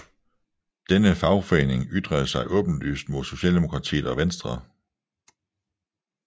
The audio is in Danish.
Denne fagforening ytrede sig åbenlyst mod Socialdemokratiet og Venstre